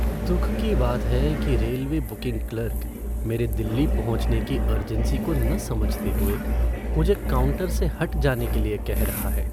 दुख की बात है कि रेलवे बुकिंग क्लर्क मेरे दिल्ली पहुँचने की अर्जेंसी को न समझते हुए मुझे काउंटर से हट जाने के लिए कह रहा है।